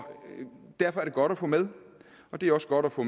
derfor er det godt at få med det er også godt at få